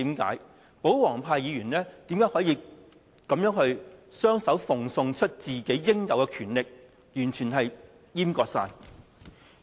為何保皇派的議員可以雙手奉送自己應有的權力，完全閹割議會呢？